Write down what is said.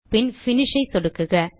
பின் Finishஐ சொடுக்குக